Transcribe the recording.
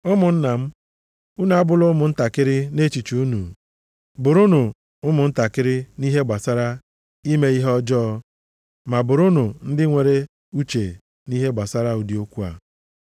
Ụmụnna m, unu abụla ụmụntakịrị nʼechiche unu. Bụrụnụ ụmụntakịrị nʼihe gbasara ime ihe ọjọọ, ma bụrụnụ ndị nwere uche nʼihe gbasara ụdị okwu a.